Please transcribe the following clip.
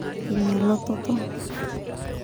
Ina lototo.